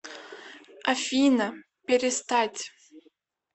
афина перестать